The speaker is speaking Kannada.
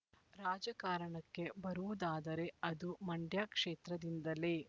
ರಾಜಕಾರಣಕ್ಕೆ ಬರುವುದಾದರೆ ಅದು ಮಂಡ್ಯ ಕ್ಷೇತ್ರದಿಂದಲೇ